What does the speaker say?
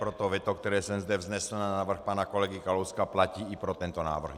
Proto veto, které jsem zde vznesl na návrh pana kolegy Kalouska, platí i pro tento návrh.